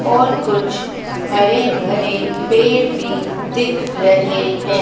और कुछ हरे भरे पेड़ भीं दिख रहें हैं।